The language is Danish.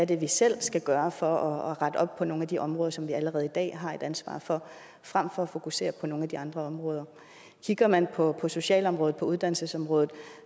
det er vi selv skal gøre for at rette op på nogle af de områder som vi allerede i dag har et ansvar for frem for at fokusere på nogle af de andre områder kigger man på socialområdet og på uddannelsesområdet